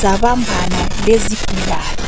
zabambana lezigulane.